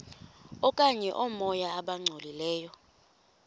okanye oomoya abangcolileyo